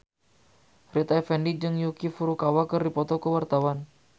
Rita Effendy jeung Yuki Furukawa keur dipoto ku wartawan